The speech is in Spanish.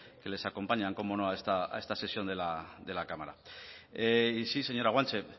que les acompañan como no a esta sesión de la cámara y sí señora guanche